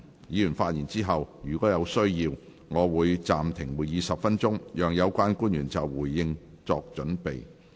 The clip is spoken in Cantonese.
議員發言後，若有需要，我會暫停會議10分鐘，讓有關官員就回應作準備。